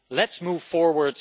Let's move forward!